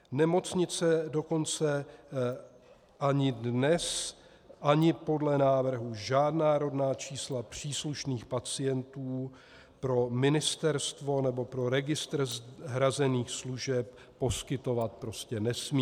Nemocnice dokonce ani dnes ani podle návrhu žádná rodná čísla příslušných pacientů pro ministerstvo nebo pro registr hrazených služeb poskytovat prostě nesmí.